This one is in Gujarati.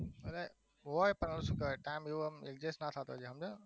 હવે પણ હવે શું કરે time એવો adjust ના થતું હોય